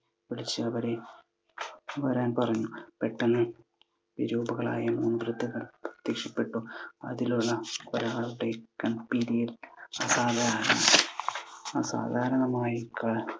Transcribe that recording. അവരെ വരാൻ പറഞ്ഞു. പെട്ടെന്ന് വിരൂപകളായ മൂന്നു വൃദ്ധകൾ പ്രത്യക്ഷപ്പെട്ടു. അതിൽ ഒരാൾ ഒരാളുടെ കൺപീലികൾ അസാധാരണമായി അസാധാരണമായി